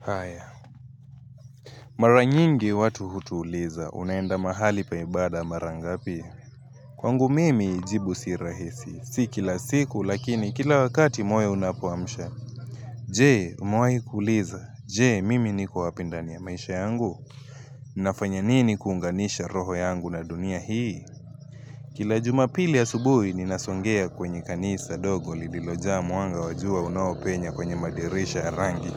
Haiya, mara nyingi watu hutuuliza, unaenda mahali pa ibada mara ngapi. Kwangu mimi jibu si rahisi, si kila siku lakini kila wakati moyo unapuamsha. Jee, umewahi kuuliza. Je, mimi niko wapi ndani ya maisha yangu. Nafanya nini kuunganisha roho yangu na dunia hii? Kila jumapili asubuhi, ninasongea kwenye kanisa dogo lililojaa mwanga wa jua unaopenya kwenye madirisha ya rangi.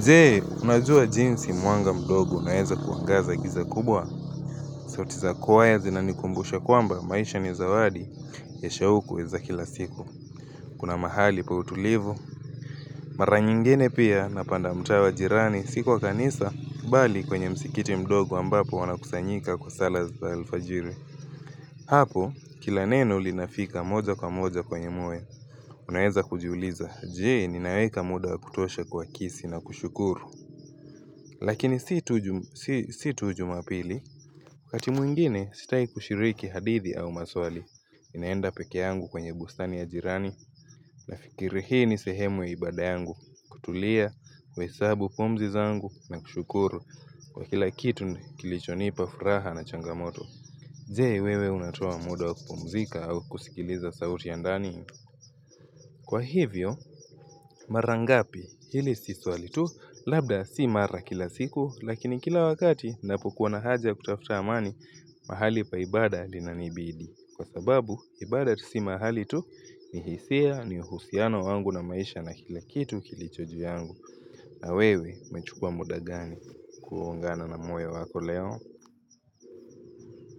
Je, unajua jinsi mwanga mdogo unaeza kuangaza giza kubwa sauti za kwaya zinanikumbusha kwamba maisha ni zawadi Esha hukuweza kila siku Kuna mahali pa utulivu Mara nyingine pia napanda mtaa wa jirani si kwa kanisa bali kwenye msikiti mdogo ambapo wanakusanyika kwa sala za alfajiri Hapo kila neno linafika moja kwa moja kwenye moyo Unaweza kujiuliza Je, ninaweka muda wa kutosha kwa kisi na kushukuru Lakini si tu jumapili, wakati mwingine sitaki kushiriki hadithi au maswali, ninaenda pekee yangu kwenye bustani ya jirani, nafikiri hii ni sehemu ya ibada yangu, kutulia, kuhesabu pumzi zangu na kushukuru kwa kila kitu kilichonipa furaha na changamoto. Je wewe unatoa muda wakupumzika au kusikiliza sauti ya ndani. Kwa hivyo mara ngapi ili si swali tu labda si mara kila siku lakini kila wakati ninapokuwa na haja kutafuta amani mahali pa ibada linanibidi. Kwa sababu ibada si mahali tu ni hisia ni uhusiano wangu na maisha na kila kitu kilicho juu yangu. Na wewe umechukua muda gani kuungana na moyo wako leo.